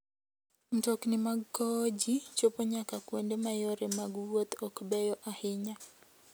Mtokni mag kowo ji chopo nyaka kuonde ma yore mag wuoth ok beyo ahinya.